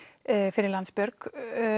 fyrir Landsbjörg